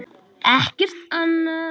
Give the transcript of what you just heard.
Ekkert annað?